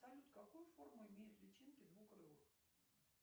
салют какую форму имеют личинки двукрылых